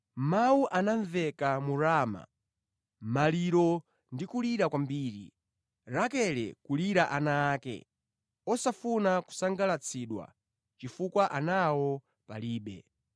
“Kulira kukumveka ku Rama, kubuma ndi kulira kwakukulu, Rakele akulirira ana ake; sakutonthozeka, chifukwa ana akewo palibe.”